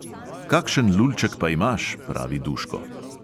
"Kakšen lulček pa imaš," pravi duško.